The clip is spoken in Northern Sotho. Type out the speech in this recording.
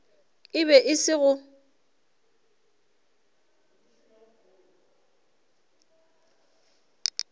e be e se go